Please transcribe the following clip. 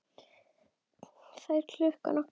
Það er klukkan okkar!